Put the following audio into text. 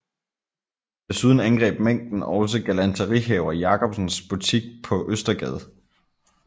Desuden angreb mængden også galanterihaver Jacobsens butik på Østergade